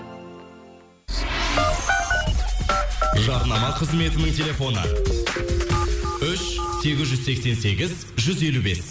жарнама қызметінің телефоны үш сегіз жүз сексен сегіз жүз елу бес